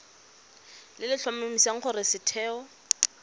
le le tlhomamisang gore setheo